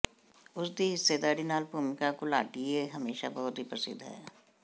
ਉਸ ਦੀ ਹਿੱਸੇਦਾਰੀ ਨਾਲ ਭੂਮਿਕਾ ਘੁਲਾਟੀਏ ਹਮੇਸ਼ਾ ਬਹੁਤ ਹੀ ਪ੍ਰਸਿੱਧ ਹੈ